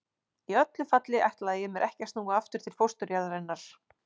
Í öllu falli ætlaði ég mér ekki að snúa aftur til fósturjarðarinnar.